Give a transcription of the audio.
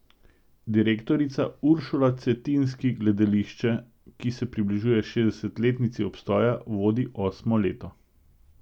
Direktorica Uršula Cetinski gledališče, ki se približuje šestdesetletnici obstoja, vodi osmo leto.